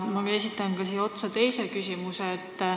Ja ma esitan siia otsa ka teise küsimuse.